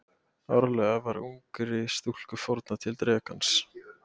Árlega var ungri stúlku fórnað til drekans.